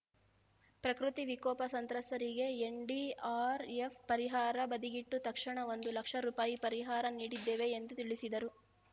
ಪ್ರಕೃತಿ ವಿಕೋಪ ಸಂತ್ರಸ್ತರಿಗೆ ಎನ್‌ಡಿಆರ್‌ಎಫ್‌ ಪರಿಹಾರ ಬದಿಗಿಟ್ಟು ತಕ್ಷಣ ಒಂದು ಲಕ್ಷ ರುಪಾಯಿ ಪರಿಹಾರ ನೀಡಿದ್ದೇವೆ ಎಂದು ತಿಳಿಸಿದರು